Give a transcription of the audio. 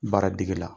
Baara degi la